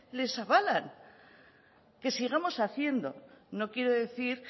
les avalan que sigamos haciendo no quiere decir